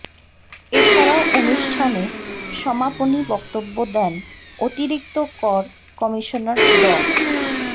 এছাড়াও অনুষ্ঠানে সমাপনী বক্তব্য দেন অতিরিক্ত কর কমিশনার ড